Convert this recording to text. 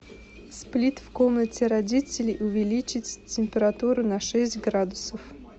сплит в комнате родителей увеличить температуру на шесть градусов